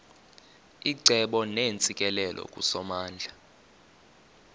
icebo neentsikelelo kusomandla